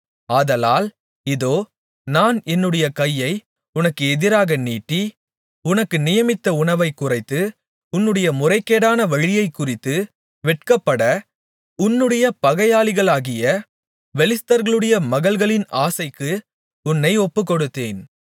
ஆதலால் இதோ நான் என்னுடைய கையை உனக்கு எதிராக நீட்டி உனக்கு நியமித்த உணவை குறைத்து உன்னுடைய முறைகேடான வழியைக்குறித்து வெட்கப்பட்ட உன்னுடைய பகையாளிகளாகிய பெலிஸ்தர்களுடைய மகள்களின் ஆசைக்கு உன்னை ஒப்புக்கொடுத்தேன்